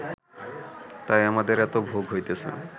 তাই আমাদের এত ভোগ হইতেছে